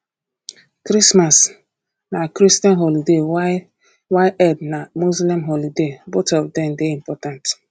christmas na christian holiday while while eid na muslim holiday both of dem dey important